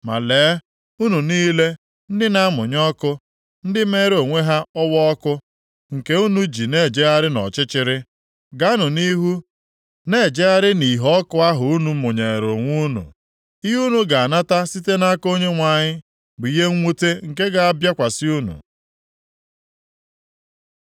Ma lee, unu niile ndị na-amụnye ọkụ, ndị meere onwe ha ọwaọkụ, nke unu ji na-ejegharị nʼọchịchịrị, gaanụ nʼihu na-ejegharị nʼìhè ọkụ ahụ unu mụnyeere onwe unu. Ihe unu ga-anata site nʼaka Onyenwe anyị bụ ihe mwute nke ga-abịakwasị unu.